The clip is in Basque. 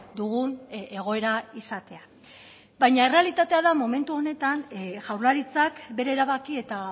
dugun egoera izatea baina errealitatea da momentu honetan jaurlaritzak bere erabaki eta